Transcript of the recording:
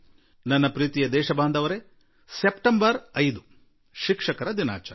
ನನ್ನೊಲವಿನ ಪೌರರೇ ಸೆಪ್ಟೆಂಬರ್ 5 ಶಿಕ್ಷಕರ ದಿನಾಚರಣೆ